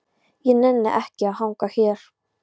Ég nenni ekki að hanga hér.